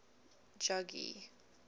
jogee